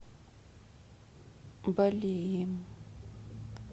балеем